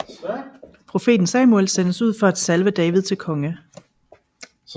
Profeten Samuel sendes ud for at salve David til konge